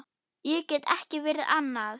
Ég get ekki verið annað.